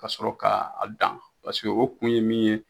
Ka sɔrɔ k'a dan paseke o kun ye min ye